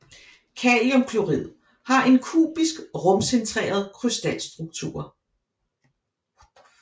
Kaliumklorid har en kubisk rumcentreret krystalstruktur